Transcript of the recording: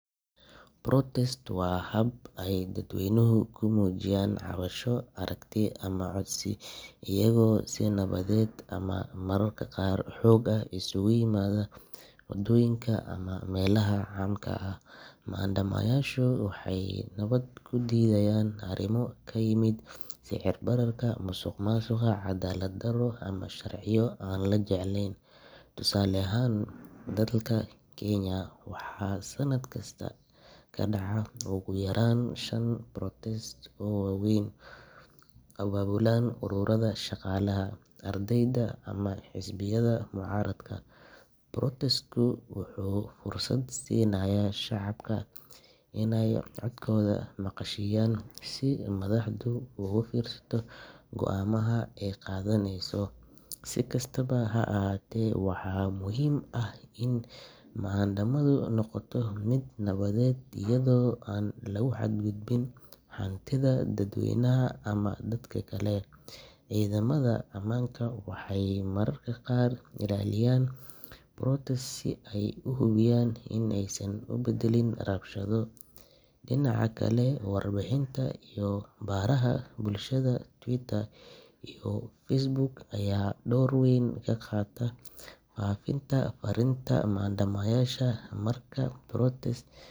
Dhir-beeristu waa mid ka mid ah waxyaabaha aasaasiga ah ee nolosha iyo deegaanka, waxayna door muhiim ah ka ciyaartaa sugnaanta cunto, ilaalinta deegaanka, iyo kobaca dhaqaalaha. Marka dhir la beero, waxaa korodha oksijiinta, waxaa yaraada wasakheynta hawada, waxaana dhulka laga hortagaa nabaad-guur. Dad badan ayaa maanta bilaabay inay beertaan dhir yar yar xitaa haddii ay ku noolyihiin magaalooyinka, iyagoo adeegsanaya containers, balconies, ama urban gardens. Dhirta sida yaanyo, basal, iyo qudaar kale ayaa lagu beeri karaa meel cidhiidhi ah, waxayna qaadataa waqti kooban in ay bislaadaan, qiyaastii afar ilaa lix toddobaad. Si dhir-beeristu ugu guuleysato, waxaa muhiim ah in la helo ciid nafaqo leh, biyo ku filan, iyo iftiin qorrax. Qaar ka mid ah dadka beeraleyda ah waxay hadda isticmaalaan mobile apps si ay ula socdaan jadwalka waraabinta, xaaladda cimillada, iyo.